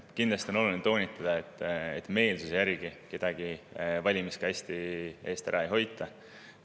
Kindlasti on oluline toonitada, et meelsuse järgi kedagi valimiskasti ei hoita.